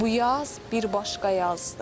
Bu yaz bir başqa yazdır.